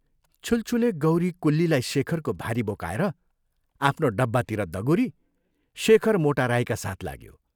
छुलछुले गौरी कुल्लीलाई शेखरको भारी बोकाएर आफ्नो डब्बातिर दगुरी शेखर मोटा राईका साथ लाग्यो।